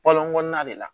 Balɔnkɔnɔnna de la